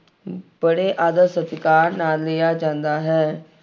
ਬੜੇ ਆਦਰ ਸਤਿਕਾਰ ਨਾਲ ਲਿਆ ਜਾਂਦਾ ਹੈ।